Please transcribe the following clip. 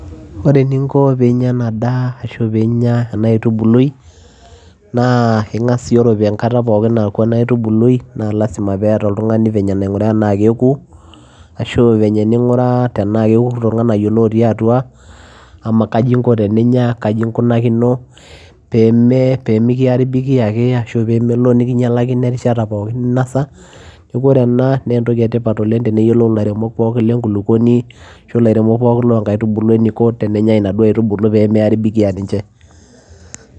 Oree eninko peyiee inyaa enaa daa ashuu piinya enaa aitubului naa ingas aanguraa tenaa kekuu ashuu venye ninguraa tenaa kekutoo inganayioo lotiii atua kaji inko teninya peyiee mikiaribiiki ake ashuu peyiee mikinyalakino erishata pookin ninosaa oree enaa naa entokii etipat teneyiplou ilairemok lenkulukuoni peyiee eyilou enikonii teenenye nkaitubulu